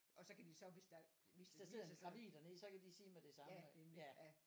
Og så kan de så hvis der hvis der sidder en gravid dernede så kan de sige med det samme at det er ja